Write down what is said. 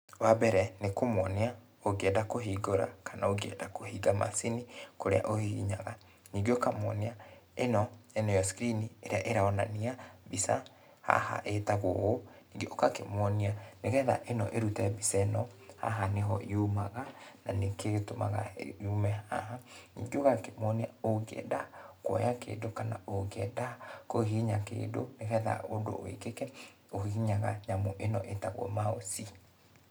Wa mbere, nĩ kũmuonia ũngĩenda kũhingũra kana ũngĩenda kũhinga macini, kũrĩa ũhihinyaga ningĩ ũkamwonia ĩno nĩyo screen ĩrĩa ĩronania mbica haha etagwo ũũ, ũgakĩmwonia nĩgetha ĩno ĩrute mbica ĩno haha nĩho yumaga na nĩkĩo gĩtũmaga yume haha, ningĩ ũgakĩmonia ũngienda kuoya kĩndũ kana ũngĩenda kuhihinya kĩndu nĩgetha ũndũ wĩkĩke ũhihinyaga nyamũ ĩno etagwo mouse